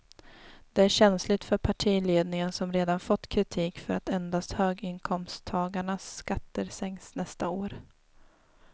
Det är känsligt för partiledningen som redan fått kritik för att endast höginkomsttagarnas skatter sänks nästa år.